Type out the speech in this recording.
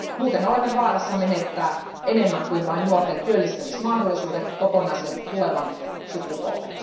Muuten olemme vaarassa menettää enemmän kuin vain nuorten työllistämismahdollisuudet, kokonaisen tulevan sukupolven.